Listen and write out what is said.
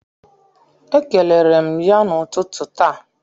Ekelere m ya n'ụtụtụ taa.